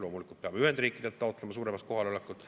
Loomulikult peame Ühendriikidelt taotlema suuremat kohalolekut.